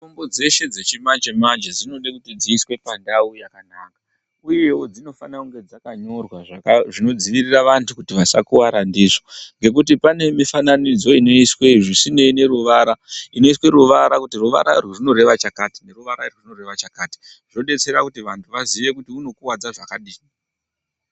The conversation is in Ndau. Mitombo dzeshe dzechimanje-manje dzinoda kuti dziiswe panda pakanaka, uyewo dzinofanire kunge dzakanyorwa zvinodzivirire vanthu kuti vasakuwara ndizvo. Ngekuti pane mifananidzo inoiswa zvieineyi neruvara, inoiswe ruvara, kuti ruvara urwu runoreva chakati, ruvara urwu runoreva chakati, zvozivisa vanthu kuti unokuwadza zvakadini.